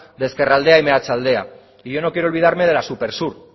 de ezkerraldea y meatzaldea y yo no quiero olvidarme de la supersur